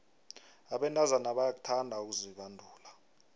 abentazana bayakuthanda ukuzibandula